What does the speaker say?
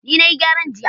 ni na yi gyaran jiya